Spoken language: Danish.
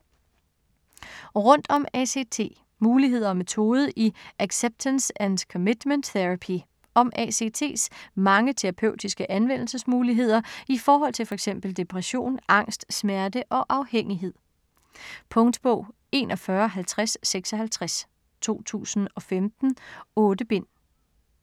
Rundt om ACT: muligheder og metode i acceptance and commitment therapy Om ACT's mange terapeutiske anvendelsesmuligheder i forhold til fx depression, angst, smerte og afhængighed. Punktbog 415056 2015. 8 bind.